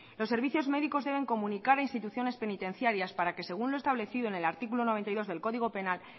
los servicios médicos deben comunicar a instituciones penitenciarias para que según lo establecido en el artículo noventa y dos del código penal